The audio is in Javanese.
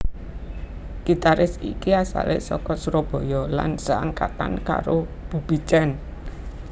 Gitaris iki asale saka Surabaya lan seangkatan karo Bubi Chen